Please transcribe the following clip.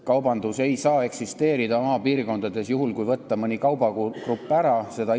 Kaubandus ei saa maapiirkondades eksisteerida, kui mõni kaubagrupp sealt ära võtta.